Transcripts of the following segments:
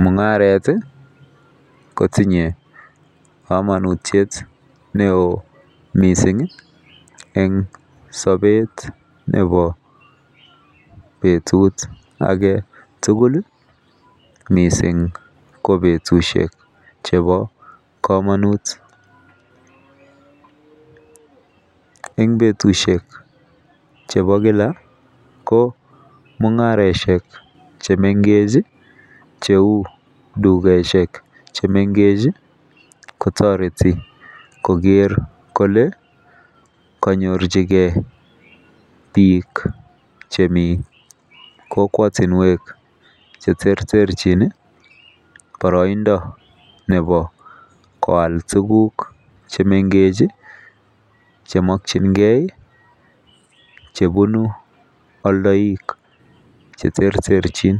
Mungaret tii kotinye komonutyet neo missingi en sobet nebo betut agetukul lii missing ko betushek chebo komonut. En betushek chebo Kila ko mungaroshek chemengech cheu tukoshek chemengechi kotoreti koker kole konyorchigee bik chemii kokwotunwek cheterterchin nii boroindo nebo koal tukuk chemengech chii chemokingee chebun oldoik cheterterchin,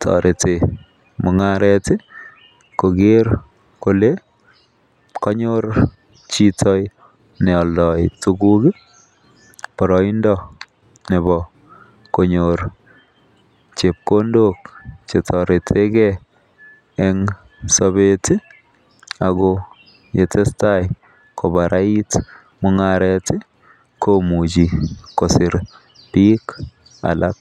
toreti mungaret tii koker kole konyor chito neoldo tukul boroindo nebo konyor chepkondok chetoretegee en sobet tii ako yetesetai kobarait mungaret tii komuchi kosir bik alak.